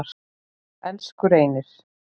Elsku Reynir.